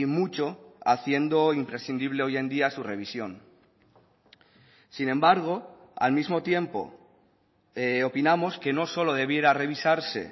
mucho haciendo imprescindible hoy en día su revisión sin embargo al mismo tiempo opinamos que no solo debiera revisarse